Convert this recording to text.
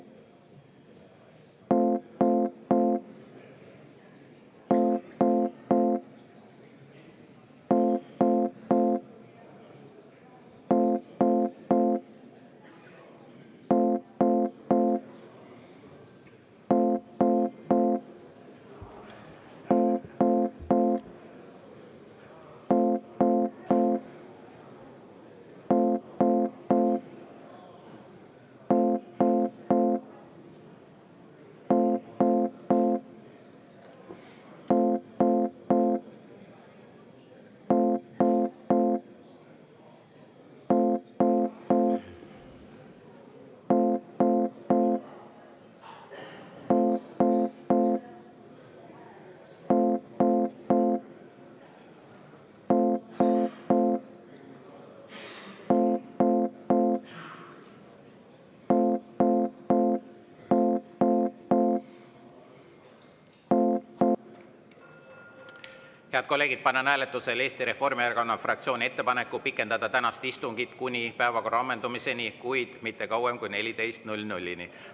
Head kolleegid, panen hääletusele Eesti Reformierakonna fraktsiooni ettepaneku pikendada tänast istungit kuni päevakorra ammendumiseni, kuid mitte kauem kui kella 14-ni.